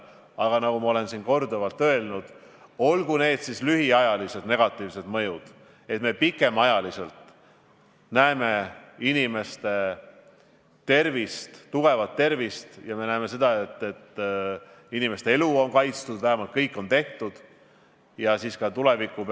Aga nagu ma olen korduvalt öelnud, olgu need siis lühiajalised negatiivsed mõjud ja et me pikemaajaliselt näeksime inimeste tervist, tugevat tervist, ja seda, et inimeste elu on kaitstud või et vähemalt kõik on selleks tehtud.